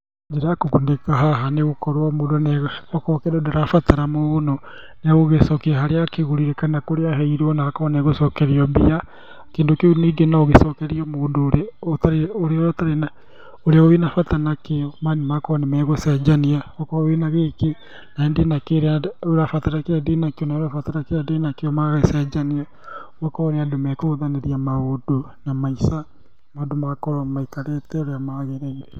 Njĩra ya kũgunĩka haha nĩgũkorwo mũndũ akorwo kĩndũ ndũrabatara mũno, nĩ egũgĩcokia harĩa agũrire kana kũrĩa aheirwo na akorwo nĩegũcokerio mbia, kĩndũ kĩu ningĩ nogĩcokerio mũndũ ũrĩa wĩna bata nakĩo magakorwo nĩmegũcenjania, akorwo wĩna gĩkĩ, naniĩ ndĩnakĩrĩa ũrabatara kĩrĩa ndĩnakĩo nawe ũrabatara kĩrĩa ndĩnakĩo magagĩcenjania, magakorwo nĩ andũ mekũhũthanĩria maũndũ na maica ma andũ magakorwo maikarĩte ũrĩa magĩrĩire.